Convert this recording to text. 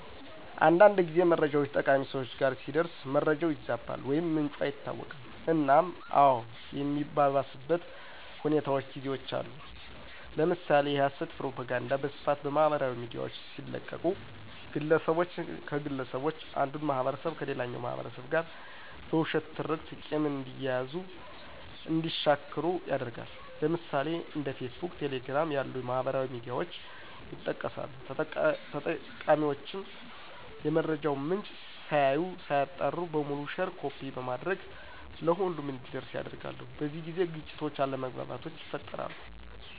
አንዳንድ ጊዜ መረጃውች ተጠቃሚ ሰወች ጋር ሲደርስ መረጃው ይዛባል ወይም ምንጩ አይታወቅም እናም አዎ የሚያባብስበት ሁኔታውች ጊዜውች አሉ። ለምሳሌ የሀሰት ፕሮፖጋንዳ በስፋት በማህበራዊ ሚዲያውች ሲለቀቁ ግለሰቦችን ከግለሰቦች አንዱን ማህበረሰብ ከሌላኛው ማህበረሰብ ጋር በውሸት ትርክት ቂም እንዲያያዙ እንዲሻክሩ ያደርጋል። ለምሳሌ፦ እንደ ፌስቡክ፣ ቴሌግራም ያሉ ማህበራዊ ሚዲያውች ይጠቀሳሉ። ተጠቃሚውችም የመረጃውን ምንጭ ሳያዩ ሳያጣሩ በሙሉ ሼር ኮፒ በማድረግ ለሁሉም እንዲዳረስ ያደርጋሉ። በዚህ ጊዜ ግጭቶች አለመግባባቶች ይፈጠራሉ።